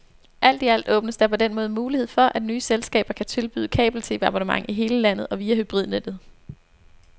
Alt i alt åbnes der på den måde mulighed for, at nye selskaber kan tilbyde kabel-TV abonnement i hele landet og via hybridnettet.